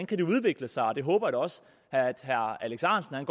kan udvikle sig jeg håber da også at herre alex ahrendtsen en